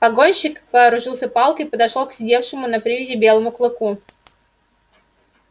погонщик вооружился палкой и подошёл к сидевшему на привязи белому клыку